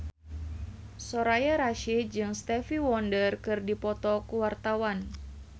Soraya Rasyid jeung Stevie Wonder keur dipoto ku wartawan